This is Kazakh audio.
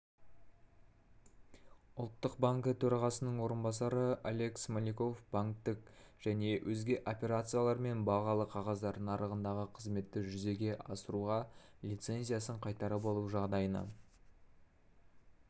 ұлттық банкі төрағасының орынбасары олег смоляков банктік және өзге операциялар мен бағалы қағаздар нарығындағы қызметті жүзеге асыруға лицензиясын қайтарып алу жағдайына